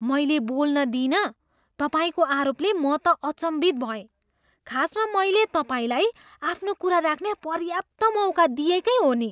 मैले बोल्न दिइनँ तपाईँको आरोपले म त अचम्भित भएँ। खासमा मैले तपाईँलाई आफ्नो कुरा राख्ने पर्याप्त मौका दिएकै हो नि।